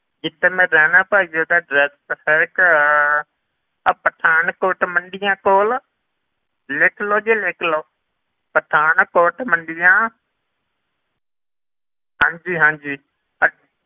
ਜਿੱਥੇ ਮੈਂ ਰਹਿਨਾ ਭਾਈ ਜੀ ਉਹਦਾ address ਹੈਗਾ ਆਹ ਪਠਾਨਕੋਟ ਮੰਡੀਆ ਕੋਲ, ਲਿਖ ਲਓ ਜੀ ਲਿਖ ਲਓ ਪਠਾਨਕੋਟ ਮੰਡੀਆਂ ਹਾਂਜੀ ਹਾਂਜੀ ਅਹ